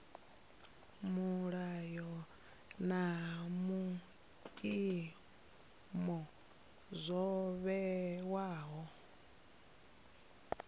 milayo na vhuimo zwo vhewaho